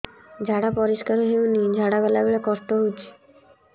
ଝାଡା ପରିସ୍କାର ହେଉନି ଝାଡ଼ା ଗଲା ବେଳେ କଷ୍ଟ ହେଉଚି